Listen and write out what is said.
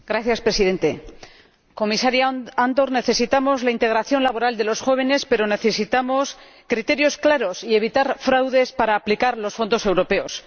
Señor Presidente, Comisario Andor, necesitamos la integración laboral de los jóvenes, pero necesitamos criterios claros y evitar fraudes para aplicar los fondos europeos